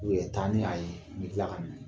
taa ni a ye n n bɛ tila k'a minɛ.